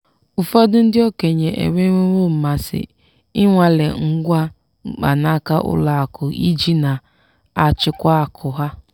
ụfọdụ ndị okenye enwewo mmasị ịnwale ngwa mkpanaaka ụlọakụ iji na-achịkwa akụ ha.